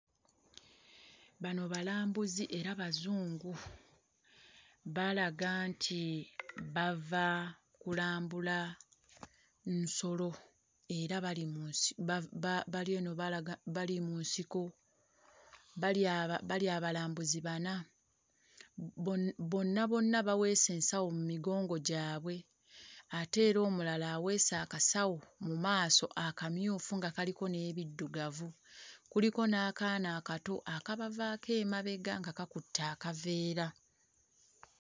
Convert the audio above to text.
Bano balambuzi era Bazungu. Balaga nti bava kulambula nsolo era bali mu nsi ba ba bali eno balaga bali mu nsiko, bali aba bali abalambuzi bana, bo bonna bonna baweese ensawo mu migongo gyabwe ate era omulala aweese akasawo mu maaso akamyufu nga kaliko n'ebiddugavu, kuliko n'akaana akato akabavaako emabega nga kakutte akaveera.